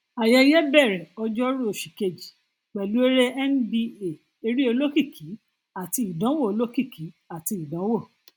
ayẹyẹ bẹrẹ ọjọrú oṣù kejì pẹlú eré nba eré olókìkí àti ìdánwò olókìkí àti ìdánwò